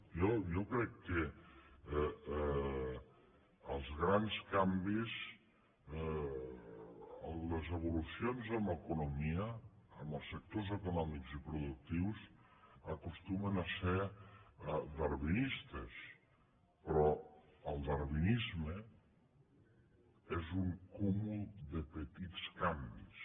jo crec que els grans canvis les evolucions en economia en els sectors econòmics i productius acostumen a ser darwinistes però el darwinisme és un cúmul de petits canvis